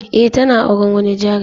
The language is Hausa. Eh tana auren wani jarumi.